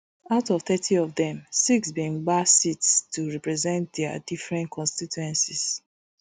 out of thirty of dem six bin gbab seats to represent dia different constituencies